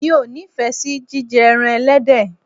Mi ò ní ìfẹ́ sí jíjẹ ẹran ẹlẹ́dẹ̀.